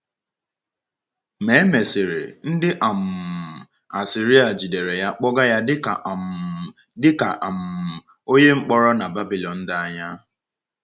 Ma e mesịrị, ndị um Asiria jidere ya wee kpọga ya dị ka um dị ka um onye mkpọrọ n’Babylon dị anya.